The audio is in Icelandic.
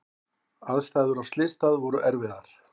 Aðstæður á slysstað voru erfiðar.